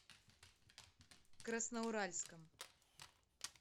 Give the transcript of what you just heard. красноуральском